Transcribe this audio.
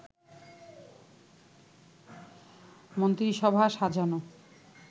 মন্ত্রিসভা সাজানো